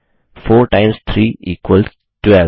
4 times 3 equals 12